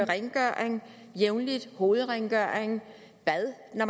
rengøring jævnligt hovedrengøring bad når